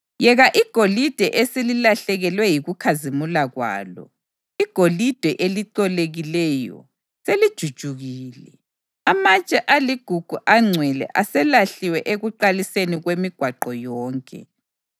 Yeka igolide eselilahlekelwe yikukhazimula kwalo, igolide elicolekileyo selijujukile! Amatshe aligugu angcwele aselahliwe ekuqaliseni kwemigwaqo yonke.